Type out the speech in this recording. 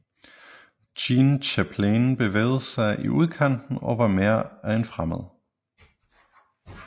Jean Chapelain bevægede sig i udkanten og var mere af en fremmed